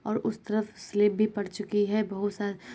और उस तरफ स्लेप भी पड़ जोकि है बहुत सा --